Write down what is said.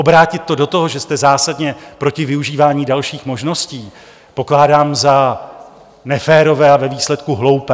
Obrátit to do toho, že jste zásadně proti využívání dalších možností, pokládám za neférové a ve výsledku hloupé.